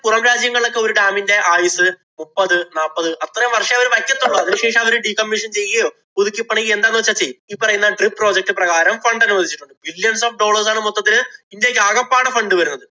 പുറം രാജ്യങ്ങളിലൊക്കെ ഒരു dam ഇന്‍റെ ആയുസ്സ് മുപ്പത് നാപ്പത് അത്രേം വര്‍ഷമേ അവര് വയ്ക്കത്തുള്ളൂ. അതിനുശേഷം അവര് decommission ചെയ്യുകയോ, പുതുക്കിപ്പണിയുകയോ എന്താന്നു വച്ചാ ചെയ്യും. ഈ പറയുന്ന DRIPproject പ്രകാരം fund അനുവദിച്ചിട്ടുണ്ട്. millions of dollars മൊത്തത്തില് ഇന്‍ഡ്യയ്ക്ക് ആകപ്പാടെ fund വരുന്നത്.